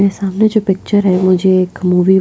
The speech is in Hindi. मेरे सामने जो पिक्चर है जो मुझे एक मूवी --